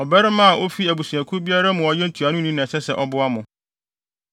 Ɔbarima a ofi abusuakuw biara mu a ɔyɛ ntuanoni na ɛsɛ sɛ ɔboa mo.